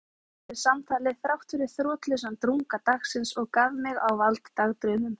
Ég var hressari eftir samtalið þráttfyrir þrotlausan drunga dagsins og gaf mig á vald dagdraumum.